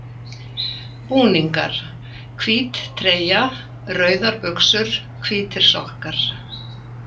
Búningar: Hvít treyja, rauðar buxur, hvítir sokkar.